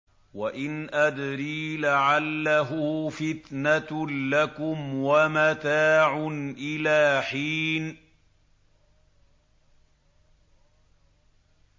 وَإِنْ أَدْرِي لَعَلَّهُ فِتْنَةٌ لَّكُمْ وَمَتَاعٌ إِلَىٰ حِينٍ